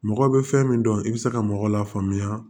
Mɔgɔ bɛ fɛn min dɔn i bɛ se ka mɔgɔ la faamuya